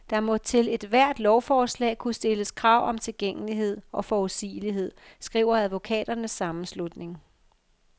Der må til ethvert lovforslag kunne stilles krav om tilgængelighed og forudsigelighed, skriver advokaternes sammenslutning.